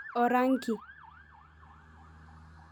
Orangi